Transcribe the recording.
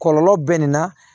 Kɔlɔlɔ bɛ nin na